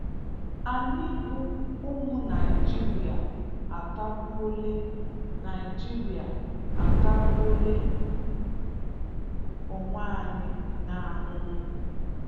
Anyị bụ ụmụ Naịjirịa atagbuola Naịjirịa atagbuola onwe anyị n'ahụhụ'